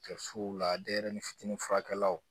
Kɛsuw la denyɛrɛnin fitini furakɛlaw